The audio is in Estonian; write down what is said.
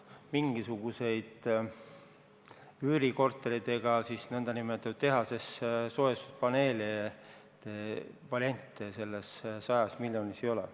Mingisuguseid üürikortereid ega tehases valmistatud soojustuspaneelide variante selles 100 miljonis ei ole.